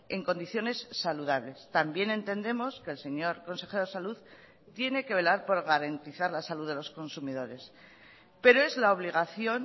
en condiciones saludables también entendemos que el señor consejero de salud tiene que velar por garantizar la salud de los consumidores pero es la obligación